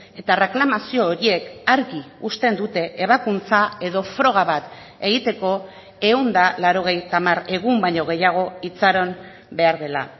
eta erreklamazio horiek argi uzten dute ebakuntza edo froga bat egiteko ehun eta laurogeita hamar egun baino gehiago itxaron behar dela